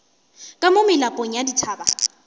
ka mo melapong ya dithaba